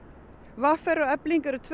v r og Efling eru tvö